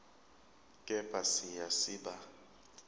kepha siya siba